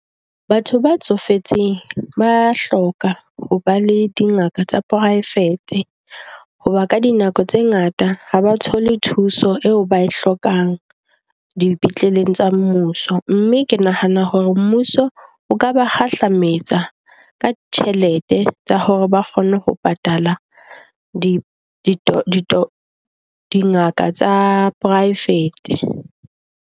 Batho ba tsofetseng ba a hloka ho ba le dingaka tsa poraefete hoba ka dinako tse ngata ha ba thole thuso eo ba e hlokang dipetleleng tsa mmuso. Mme ke nahana hore mmuso o ka ba kgahlametsa ka ditjhelete tsa hore ba kgone ho patala di di dingaka tsa poraefete.